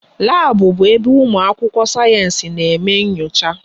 Labu bụ ebe ụmụ akwụkwọ sayensị na eme nyocha